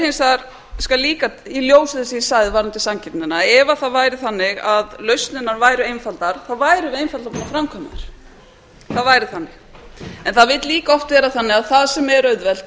ég skal líka í ljósi þess sem ég sagði varðandi samkeppnina ef það væri þannig að lausnirnar væru einfaldar þá væru þær einfaldar að framkvæma þær en það vill líka oft vera þannig að það sem er auðvelt